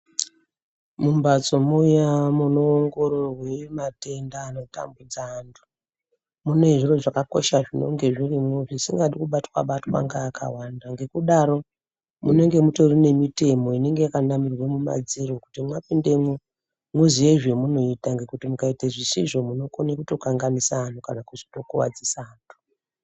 Mumbatso muya munoongororwe matenda anotambudza antu mune zviro zvakakosha zvinonge zvirimo zvisingadi kubatwa-batwa ngaakawanda ngekudaro munenge mutori nemitemo inenge yakanamirwa mumadziro kuti mwapindemo muziye zvemunoita ngekuti mukaita zvisizvo munokone kutokanganisa antu kana kuzitokuwadzisa antu.